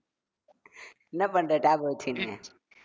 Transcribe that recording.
என்ன பண்ற tab அ வச்சுகின்னு